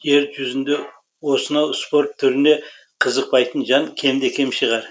жер жүзінде осынау спорт түріне қызықпайтын жан кемде кем шығар